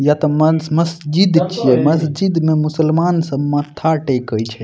या ते म-मस्जिद छिये मस्जिद में मुसलमान सब माथा टेके छै।